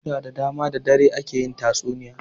Lokuta da dama da dare ake yin tatsuniya.